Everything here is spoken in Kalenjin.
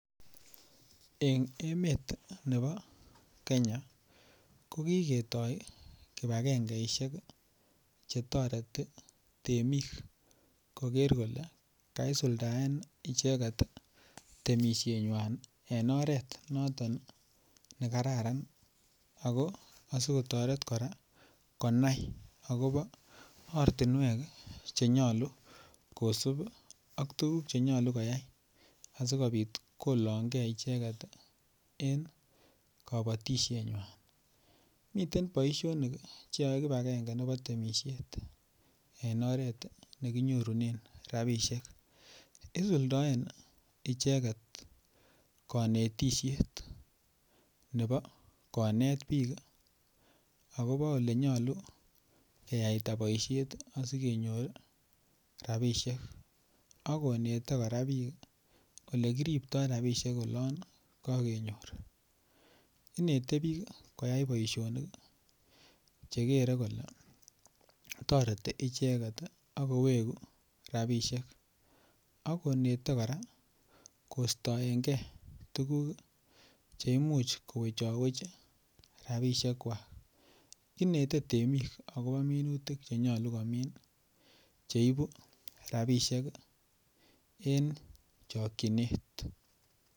En emet nebo Kenya ko kiketoi kibagengesiek Che toreti temik koger kole kaisuldaen icheget temisienywa en oret noton ne kararan ago asi kotoret kora konai agobo ortinwek Che nyolu kosub ak tuguk Che nyolu koyai asi kobit kolongei icheget en kabatisienywan miten boisionik Che yoe kibagenge nebo temisiet en oret ne kinyorunen rabisiek isuldoen icheget konetisiet nebo konet bik agobo Ole nyolu keyaita boisiet asi kenyor rabisiek ak konete kora bik Ole kiriptoi rabisiek olon kokenyor inete bik koyai boisionik Che kere toreti icheget ak kowegu rabisiek ak konete kora kostoenge tuguk Che imuch kowechowech rabisiek kwak inete temik agobo minutik Che nyolu komin cheibu rabisiek en chokyinet